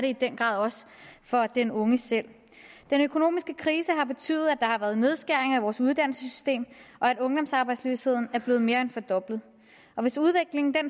i den grad også for den unge selv den økonomiske krise har betydet at der har været nedskæringer i vores uddannelsessystem og at ungdomsarbejdsløsheden er blevet mere end fordoblet hvis udviklingen